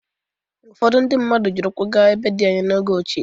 Ụfọdụ ndị mmadụ jiri ụkwụ gaa ebe dị anya n'oge ochie.